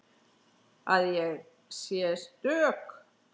Að ég sé stök.